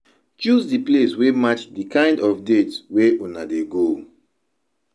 Choose di place wey match di kind of date wey una dey go